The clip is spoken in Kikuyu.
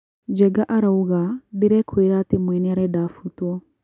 Njenga arauga, ' Ndĩrekũera atĩ mwene arenda afutuo'